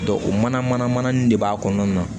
o mana mana nin de b'a kɔnɔna na